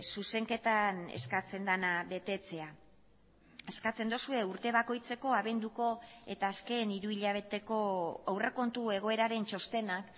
zuzenketan eskatzen dena betetzea eskatzen duzue urte bakoitzeko abenduko eta azken hiruhilabeteko aurrekontu egoeraren txostenak